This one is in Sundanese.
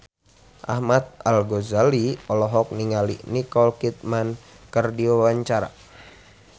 Ahmad Al-Ghazali olohok ningali Nicole Kidman keur diwawancara